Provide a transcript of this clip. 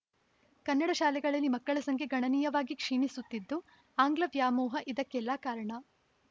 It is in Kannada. ಕನ್ನಡ ಶಾಲೆಗಳಲ್ಲಿ ಮಕ್ಕಳ ಸಂಖ್ಯೆ ಗಣನೀಯವಾಗಿ ಕ್ಷೀಣಿಸುತ್ತಿದ್ದು ಆಂಗ್ಲ ವ್ಯಾಮೋಹ ಇದಕ್ಕೆಲ್ಲಾ ಕಾರಣ